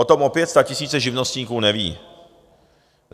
O tom opět statisíce živnostníků neví.